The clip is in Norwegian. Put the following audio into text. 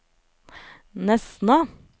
Nesna